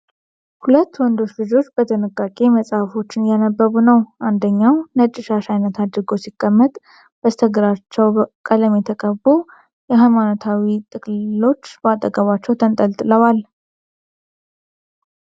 ሁለት ወንዶች ልጆች በጥንቃቄ መጽሐፎችን እያነበቡ ነው። አንደኛው ነጭ ሻሽ ዓይነት አድርጎ ሲቀመጥ፣ በስተግራቸው ቀለም የተቀቡ ሃይማኖታዊ ጥቅልሎች በአጠገባቸው ተንጠልጥለዋል።